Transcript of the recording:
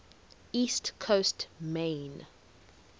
east coast maine